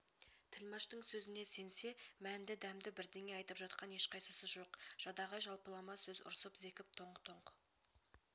тілмаштың сөзіне сенсе мәнді дәмді бірдеңе айтып жатқан ешқайсысы жоқ жадағай жалпылама сөз ұрсып зекіп тоңқ-тоңқ